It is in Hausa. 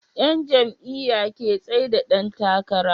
Yan jam'iya ke tsaida Dan takara